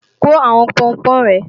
Kó àwọn Pọnpọ́n rẹ!